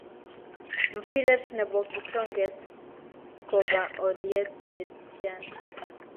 Mpiret nebo kitonget koba olyet netian